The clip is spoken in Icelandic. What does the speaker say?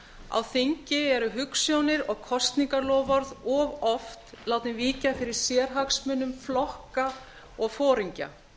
á þingi eru hugsjónir og kosningaloforð of oft látin víkja fyrir sérhagsmunum flokka og foringja